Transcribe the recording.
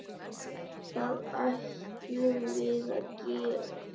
Það ætlum við gera.